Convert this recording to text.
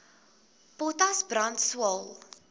potas brand swael